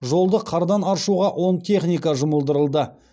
жолды қардан аршуға он техника жұмылдырылды